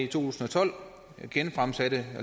tusind og tolv fremsatte